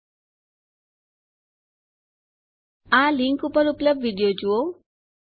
આ લીંક ઉપર ઉપલબ્ધ વિડીઓ જુઓ